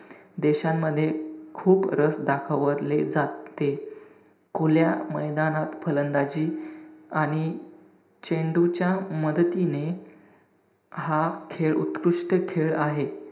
देशांमध्ये खूप रस दाखवले जाते. खुल्या मैदानात फलंदाजी आणि चेंडूच्या मदतीने हा खेळ उत्कृष्ट खेळ आहे.